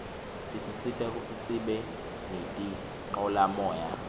tisisita kutsi sibe nitincolamoya